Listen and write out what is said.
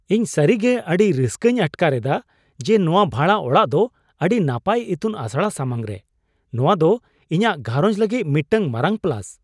ᱤᱧ ᱥᱟᱹᱨᱤᱜᱮ ᱟᱹᱰᱤ ᱨᱟᱹᱥᱠᱟᱹᱧ ᱟᱴᱠᱟᱨᱮᱫᱟ ᱡᱮ ᱱᱚᱶᱟ ᱵᱷᱟᱲᱟ ᱚᱲᱟᱜ ᱫᱚ ᱟᱹᱰᱤ ᱱᱟᱯᱟᱭ ᱤᱛᱩᱱ ᱟᱥᱲᱟ ᱥᱟᱢᱟᱝᱨᱮ ᱾ ᱱᱚᱶᱟ ᱫᱚ ᱤᱧᱟᱹᱜ ᱜᱷᱟᱨᱚᱡᱽ ᱞᱟᱹᱜᱤᱫ ᱢᱤᱫᱴᱟᱝ ᱢᱟᱨᱟᱝ ᱯᱞᱟᱥ ᱾